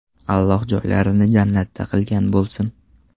Alloh joylarini jannatdan qilgan bo‘lsin!”.